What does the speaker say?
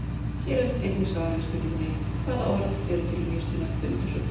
Hér er einnig svar við spurningunni: Hvaða orð eru til um jurtina hundasúru?